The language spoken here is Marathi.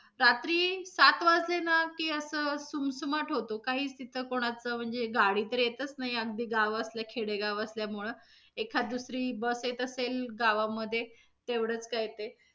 रात्री सात वाजले ना की, अस सुमसुमाट होतो काहीच तिथं कोणाचं म्हणजे, गाडी तर येतच नाही. अगदी गाव असल, खेडेगाव असल्यामुळं एखाद दुसरी bus येत असेल गावामधे तेवढंच काय ते.